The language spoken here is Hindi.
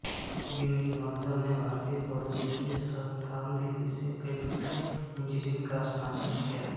बिन्नी बंसल ने भारतीय प्रौद्योगिकी संस्थान दिल्ली से कंप्यूटर इंजीनियरिंग में स्नातक किया